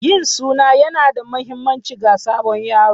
Yin suna yana da mahimmanci ga sabon yaro.